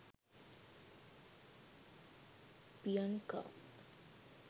piyanka